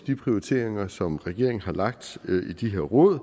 de prioriteringer som regeringen har lagt i de her råd